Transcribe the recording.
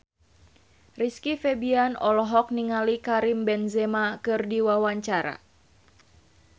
Rizky Febian olohok ningali Karim Benzema keur diwawancara